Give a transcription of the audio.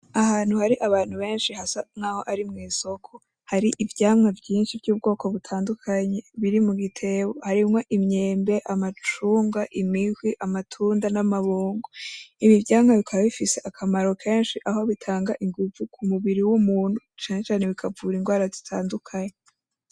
Ahantu hari abantu benshi hasa nkaho ari mwisoko hari ivyanga vyinshi vyubwoko butandukanye biri mugitebo harimo imyembe, amacunga imihwi, amatunda n'amaboko ibi vyanga bikaba bifise akamaro kenshi aho bitanga ingufu kumubiri wumuntu canecane bikavura indwara zitandukanye.